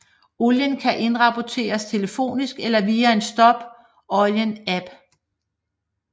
Olien kan indrapporteres telefonisk eller via en Stop Olien app